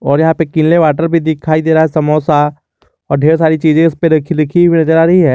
और यहां पर किनले वाटर भी दिखाई दे रहा है समोसा और ढेर सारी चीज उस पर रखी लिखी हुई नजर आ रही है।